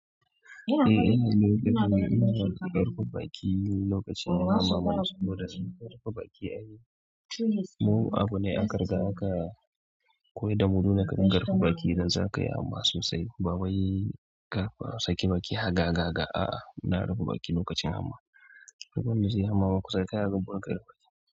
Eh ana mulki da mu, ana karɓar baki lokacin jama'a. Da sun karɓa baki ai mu abu ne aka riga aka koyi da mu nuna ƙarar baki, zan zaka yi hamma sosai. Bawai ka sake baki haga gaga, a'a muna rufe baki lokacin jama'a. Wanda zaiyima hamma kusa dankai baki.